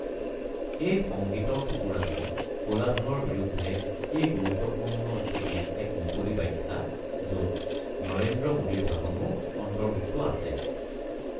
এই সংগীতৰ টুকুৰাটো ক'লা ধনৰ বিৰুদ্ধে এই গুৰুত্বপূৰ্ণ স্থিতিৰ এক মুকলি ব্যাখ্যা য'ত নৰেন্দ্ৰ মোডীৰ ভাষণো অন্তৰ্ভুক্ত আছে।